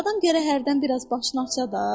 Adam gərək hərdən biraz başını açsa da.